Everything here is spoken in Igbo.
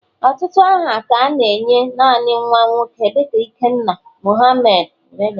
Ọtụtụ aha ka a na-enye naanị nwa nwoke dịka ikenna, Mohamed wdg